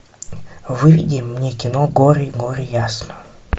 выведи мне кино гори гори ясно